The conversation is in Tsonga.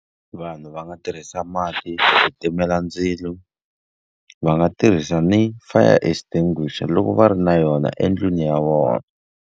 Vanhu va nga tirhisa mati ku timela ndzilo, va nga tirhisa ni fire extinguisher loko va ri na yona endlwini ya vona.